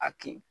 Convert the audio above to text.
A kin